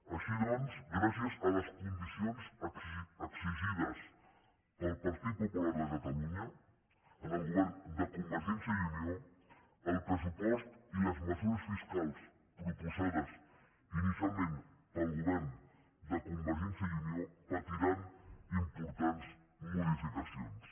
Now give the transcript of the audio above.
així doncs gràcies a les condicions exigides pel partit popular de catalunya al govern de convergència i unió el pressupost i les mesures fiscals proposades inicialment pel govern de convergència i unió patiran importants modificacions